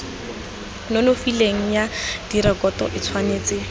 nonofileng ya direkoto e tshwanetse